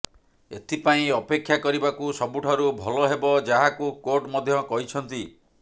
ଏଥିପାଇଁ ଅପେକ୍ଷା କରିବାକୁ ସବୁଠାରୁ ଭଲ ହେବ ଯାହାକୁ କୋର୍ଟ ମଧ୍ୟ କହିଛନ୍ତି